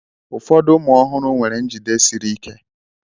Ụfọdụ ụmụ ọhụrụ nwere njide siri ike.